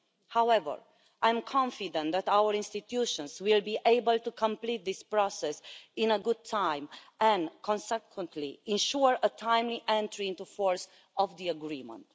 However, I am confident that our institutions will be able to complete this process in good time and consequently ensure the timely entry into force of the agreement.